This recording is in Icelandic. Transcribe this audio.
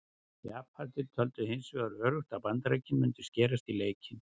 Japanar töldu hins vegar öruggt að Bandaríkin mundu skerast í leikinn.